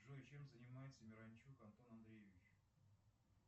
джой чем занимается миранчук антон андреевич